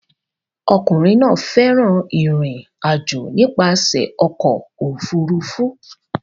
Ọkùnrin náà fẹ́ràn ìrìn-àjò nípasẹ̀ ọkọ̀ òfurufú